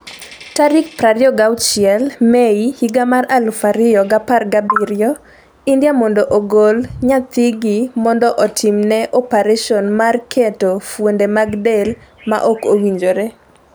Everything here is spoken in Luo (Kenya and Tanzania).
26 Mei 2017: India mondo ogol nyathigi mondo otimne opereson mar keto fuonde mag del ma ok owinjore.